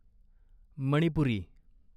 Manipuri